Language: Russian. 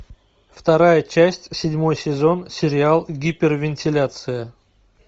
вторая часть седьмой сезон сериал гипервентиляция